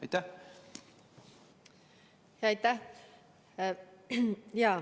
Aitäh!